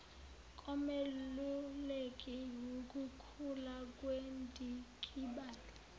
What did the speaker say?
komeluleki wukukhula kwendikibalo